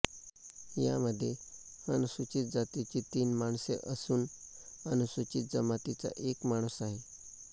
यामंध्ये अनुसूचित जातीची तीन माणसे असून अनुसूचित जमातीचा एक माणूस आहे